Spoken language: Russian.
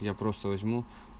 я просто возьму